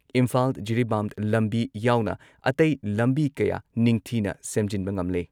ꯏꯝꯐꯥꯜ ꯖꯤꯔꯤꯕꯥꯝ ꯂꯝꯕꯤ ꯌꯥꯎꯅ ꯑꯇꯩ ꯂꯝꯕꯤ ꯀꯌꯥ ꯅꯤꯡꯊꯤꯅ ꯁꯦꯝꯖꯤꯟꯕ ꯉꯝꯂꯦ ꯫